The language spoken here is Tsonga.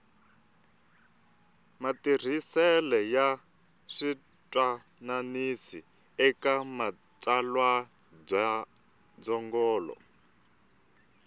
matirhisele ya switwananisi eka matsalwandzungulo